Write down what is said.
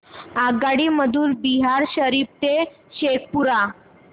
आगगाडी मधून बिहार शरीफ ते शेखपुरा